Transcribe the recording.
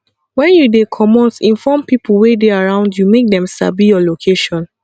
when you dey comot inform pipo wey dey around you make dem sabi your location